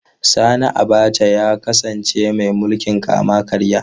Sani Abacha ya kasance mai mulkin kama karya.